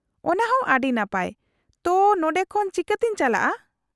-ᱚᱱᱟᱦᱚᱸ ᱟᱹᱰᱤ ᱱᱟᱯᱟᱭ ᱾ ᱛᱚ, ᱱᱚᱸᱰᱮ ᱠᱷᱚᱱ ᱪᱤᱠᱟᱹᱛᱮᱧ ᱪᱟᱞᱟᱜᱼᱟ ?